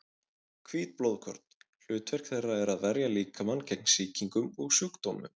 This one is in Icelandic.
Hvít blóðkorn: hlutverk þeirra er að verja líkamann gegn sýkingum og sjúkdómum.